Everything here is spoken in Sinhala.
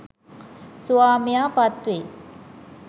ස්වාමියා පත්වෙයි.